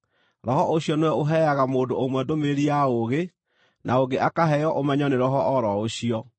Roho ũcio nĩwe ũheaga mũndũ ũmwe ndũmĩrĩri ya ũũgĩ, na ũngĩ akaheo ũmenyo nĩ Roho o ro ũcio,